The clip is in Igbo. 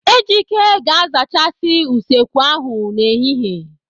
Ejike ga-azachasị usekwu ahụ n'ehihie.